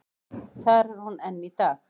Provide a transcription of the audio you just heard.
Þar er hún enn í dag.